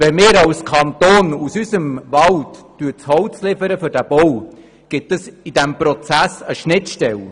Wenn wir als Kanton aus unserem Wald das Holz für diesen Bau liefern, gibt es in diesem Prozess eine Schnittstelle.